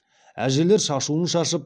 әжелер шашуын шашып